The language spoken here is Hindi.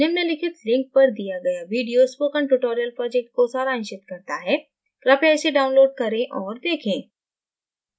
निम्नलिखित link पर दिया गया video spoken tutorial project को सारांशित करता है कृपया इसे download करें और देखें